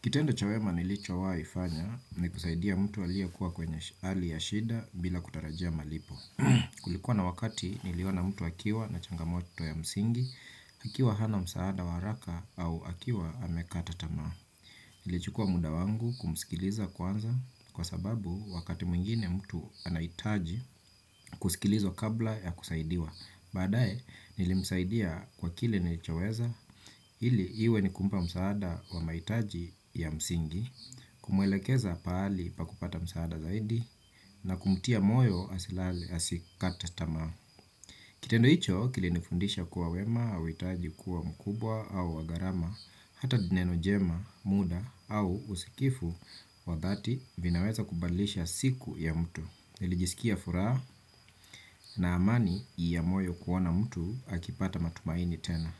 Kitendo cha wema nilicho waifanya ni kusaidia mtu alie kuwa kwenye hali ya shida bila kutarajia malipo. Kulikuwa na wakati niliona mtu akiwa na changamoto ya msingi, akiwa hana msaada wa haraka au akiwa amekata tamaa. Nili chukua muda wangu kumskiliza kwanza kwa sababu wakati mwingine mtu anaitaji kusikilizwa kabla ya kusaidiwa. Baadae, nilimsaidia kwa kile nilichoweza, ili iwe nikumpa msaada wa maitaji ya msingi, kumwelekeza paali pa kupata msaada zaidi, na kumtia moyo asikate tamaa. Kitendo icho, kilinifundisha kuwa wema, auitaji kuwa mkubwa, au wagarama, hata dine nojema, muda, au usikifu, wadhati vinaweza kubalisha siku ya mtu. Nilijisikia furaha na amani iya moyo kuona mtu akipata matumaini tena.